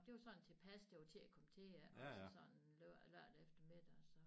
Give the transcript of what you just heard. Det var sådan tilpas det var til at komme til iggås sådan lørdag eftermiddag så